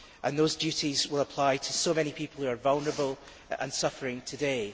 Those duties will apply to so many people who are vulnerable and suffering today.